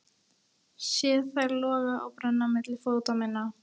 Sé þær loga og brenna milli fóta minna.